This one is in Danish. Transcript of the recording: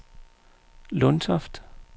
Lundtoft